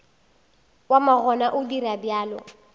wa makgona o dira bjalo